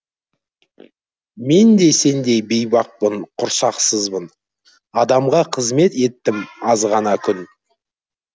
мен де сендей бейбақпын құрсақсызбын адамға қызымет еттім азғана күн